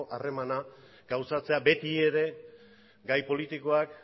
harremana gauzatzea beti ere gai politikoak